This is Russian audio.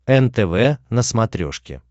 нтв на смотрешке